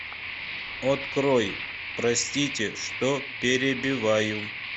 открой простите что перебиваю